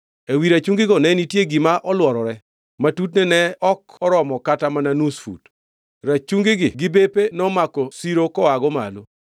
Ewi rachungino ne nitie gima olworore, ma tutne ne ok oromo kata mana nus fut. Rachungi gi bepe nomako siro koago malo.